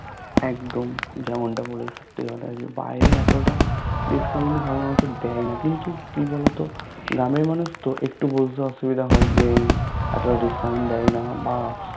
একদম যেমনটা বললে সত্যি কথা যে বাহিরে এতটা Discount সাধারণত দেয়না কিন্তু কিবলতো গ্রাম এর মানুষতো একটু বুঝতে অসুবিধা হয় যে এতটা Discount দেয়না বা